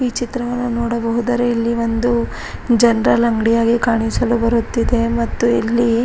ಈ ಚಿತ್ರವನ್ನು ನೋಡಹೋದರೆ ಇಲ್ಲಿ ಒಂದು ಜನರಲ್ ಅಂಗ್ಡಿ ಹಾಗೆ ಕಾಣಿಸಲು ಬರುತ್ತಿದೆ ಮತ್ತು ಇಲ್ಲಿ --